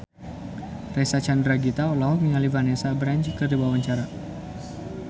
Reysa Chandragitta olohok ningali Vanessa Branch keur diwawancara